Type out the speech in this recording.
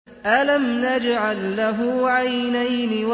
أَلَمْ نَجْعَل لَّهُ عَيْنَيْنِ